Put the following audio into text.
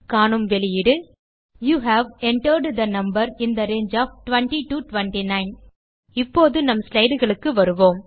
காணும் வெளியீடு you have entered the number in the range of 20 to 29 இப்போது நம் slideகளுக்கு வருவோம்